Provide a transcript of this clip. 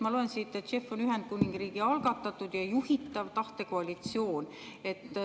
Ma loen siit, et JEF on Ühendkuningriigi algatatud ja juhitav tahtekoalitsioon.